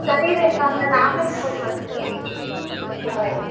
ತಡೀರಿ ಅಕ್ಕ ನಾನ್ ಆಮೇಲ್ phone ಮಾಡ್ತೀನಿ okay bye .